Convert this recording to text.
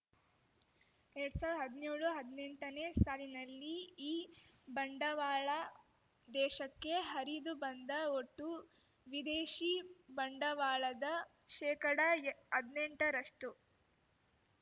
ಎರಡ್ ಸಾವಿರ್ದ್ ಹದ್ನ್ಯೋಳುಹದ್ನೆಂಟನೇ ಸಾಲಿನಲ್ಲಿ ಈ ಬಂಡವಾಳ ದೇಶಕ್ಕೆ ಹರಿದು ಬಂದ ಒಟ್ಟು ವಿದೇಶಿ ಬಂಡವಾಳದ ಶೇಕಡ ಎ ಹದ್ನೆಂಟರಷ್ಟು